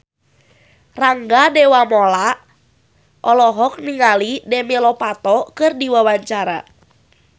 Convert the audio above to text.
Rangga Dewamoela olohok ningali Demi Lovato keur diwawancara